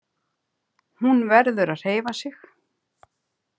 Hún verður að hreyfa sig.